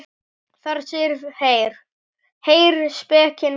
Þar segir: Heyr, spekin kallar.